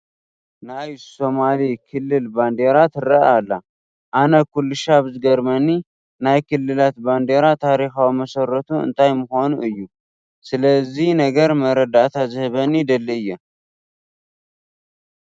ናይ ሶማሊ ክልል ባንዴራ ትርአ ኣላ፡፡ ኣነ ኩልሻብ ዝገርመኒ ናይ ክልላት ባንዴራ ታሪካዊ መሰረቱ እንታይ ምዃኑ እዩ፡፡ ስለዚ ነገር መረዳእታ ዝህበኒ ይደሊ እየ፡፡